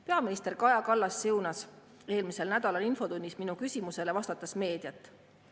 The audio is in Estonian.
Peaminister Kaja Kallas siunas eelmisel nädalal infotunnis minu küsimusele vastates meediat.